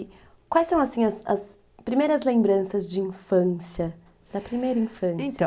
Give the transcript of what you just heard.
E quais são as as primeiras lembranças de infância, da primeira infância? Então...